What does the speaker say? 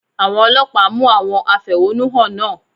Àwọn Ọlọ́pàá mú àwọn afẹ̀họ́nú hàn náà.